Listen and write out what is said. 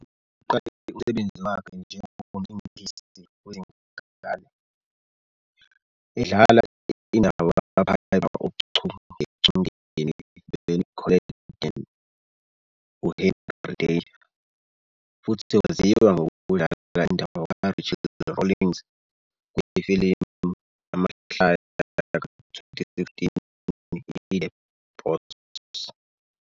Uqale umsebenzi wakhe njengomlingisi wezingane, edlala indawo kaPiper ochungechungeni lweNickelodeon "uHenry Danger",futhi waziwa ngokudlala indawo kaRachel Rawlings kwifilimu yamahlaya ka-2016 "iThe Boss".